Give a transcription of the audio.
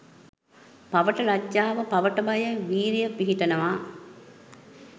පවට ලජ්ජාව, පවට බය, විරිය පිහිටනවා.